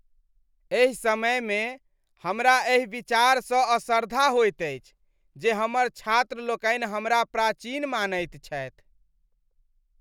एहि समयमे, हमरा एहि विचारसँ असरधा होइत अछि जे हमर छात्रलोकनि हमरा प्राचीन मानैत छथि।